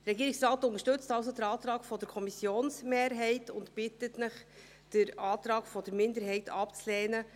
Der Regierungsrat unterstützt also den Antrag der Kommissionsmehrheit und bittet Sie, den Antrag der Minderheit abzulehnen.